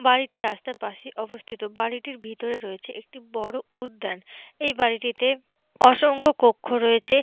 বাড়িটি রাস্তার পাশে অবস্থিত বাড়িটির ভেতরে রয়েছে একটি বড় উদ্যান এই বাড়িটিতে অসংখ্য কক্ষ রয়েছে।